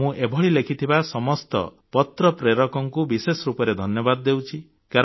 ମୁଁ ଏଭଳି ଲେଖିଥିବା ସମସ୍ତ ପତ୍ର ପ୍ରେରକଙ୍କୁ ବିଶେଷ ରୂପରେ ଧନ୍ୟବାଦ ଦେଉଛି